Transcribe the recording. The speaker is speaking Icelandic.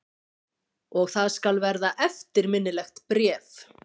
Og það skal verða eftirminnilegt bréf.